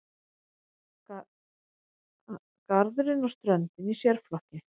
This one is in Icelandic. Garðurinn og ströndin í sérflokki.